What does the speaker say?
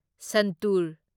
ꯁꯟꯇꯨꯔ